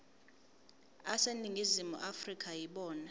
aseningizimu afrika yibona